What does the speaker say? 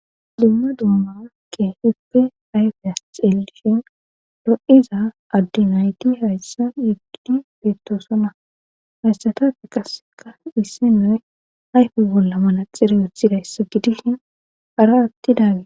Limma dumma ke hippe ayfiyas xelishin ro7iza addinayti hayssan yeggdi beettoosona hayssatafe qasseka issi noy ayfu bolla malaxirayothida yssa gidihin ara atti daage.